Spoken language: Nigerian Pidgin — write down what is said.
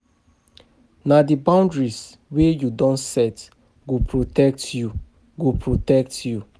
Na di boundaries wey you don set go protect you. go protect you.